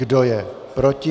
Kdo je proti?